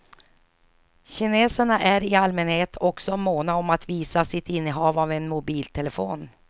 Kineserna är i allmänhet också måna om att visa sitt innehav av en mobiltelefon.